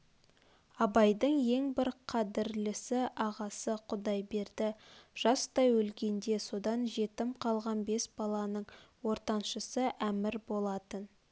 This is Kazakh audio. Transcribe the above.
абайдың ең бір қадірлесі ағасы құдайберді жастай өлгенде содан жетім қалған бес баланың ортаншысы әмір болатын